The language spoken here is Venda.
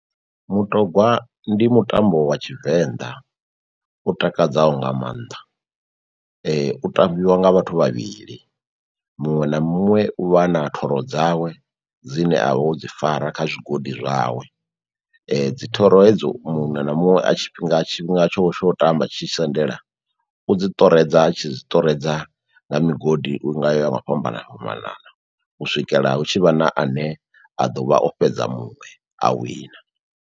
Mutogwa ndi mutambo wa tshivenḓa u takadzaho nga mannḓa, u tambiwa nga vhathu vhavhili. Muṅwe na muṅwe u vha a na thoro dzawe dzine avha o dzi fara kha zwigodi zwawe dzi thoro hedzo muṅwe na muṅwe tshifhinga tsho tsho tamba tshi tshi sendela u dzi ṱoredza a tshi zwiṱoredza nga migodi ya nga u fhambana fhambanana u swikela hu tshivha na ane a ḓo vha o fhedza muṅwe a wina.